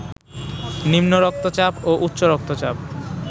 নিম্ন রক্তচাপ ও উচ্চরক্তচাপ